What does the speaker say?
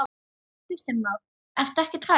Kristján Már: Ertu ekkert hrædd?